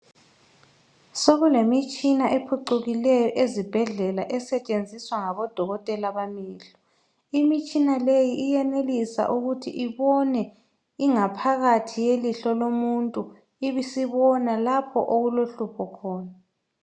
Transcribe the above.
Sokulemitshina ephucukileyo ezibhedlela esetshenziswa ngabodokotela bamehlo. Imitshina leyi iyenelisa ukuthi ibone ingaphakathi yelihlo lomuntu ibisibona lapho okulohlupho khona.